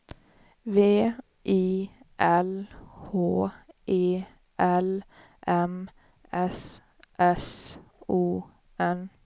V I L H E L M S S O N